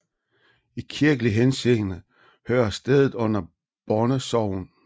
I kirkelig henseende hører stedet under Borne Sogn